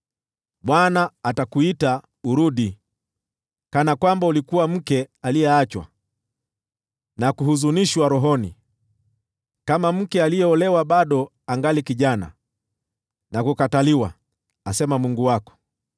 Bwana atakuita urudi kana kwamba ulikuwa mke aliyeachwa na kuhuzunishwa rohoni; kama mke aliyeolewa bado angali kijana na kukataliwa,” asema Mungu wako.